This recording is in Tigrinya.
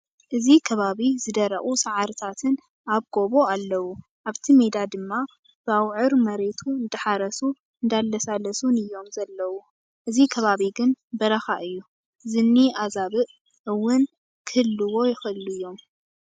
እዚ ከባቢ ዝደረቁ ፃዕሪታትን ኣብ ጎቦ ኣለው። ኣብቲ ሜዳ ድማ ብኣውዕር መሬቱ እንዳሓረሱን እንዳላሳለሱን እዮም ዘለው። እዚ ከባቢ ግን በረካ እዩ ዝኒ ኣዛብእ እወን ክህልዎ ይክእሉ እዮም።